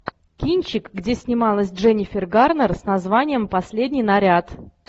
кинчик где снималась дженнифер гарнер с названием последний наряд